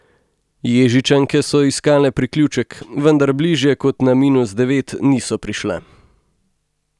Ježičanke so iskale priključek, vendar bližje kot na minus devet niso prišle.